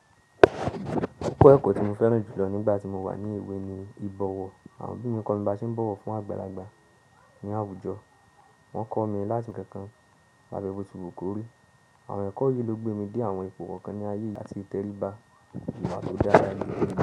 Bẹ́ẹ̀ kò tí mo fẹ́ràn jùlọ nígbà tí mo wà ní ìwé ni ìbọ̀wọ̀. Àwọn bímọ mi kọ mi bá ṣe ń bọ̀wọ̀ fún àgbàlagbà ní àwùjọ. Wọ́n kọ́ mi láti nkankan labẹ́ bo ti wu kóri. Àwọn ẹ̀kọ́ yìí ló gbé mi dé àwọn ipo kànkan ní ayé yi àti ìtẹ̀ríba ìwà tó dára ní.